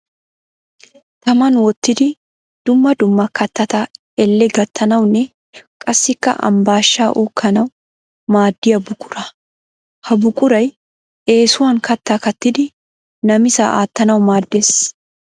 Taman wottidi dumma dumma kattatata elle gattanawunne qassikka ambbaashshaa uukkanawu maaddiya buquraa. Ha buquray eesuwan kattaa kaattidi namisaa attanawu maaddes.